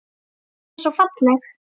Hún var svo falleg.